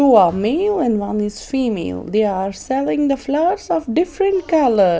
Two are male and one is female they are selling the flowers of different colour.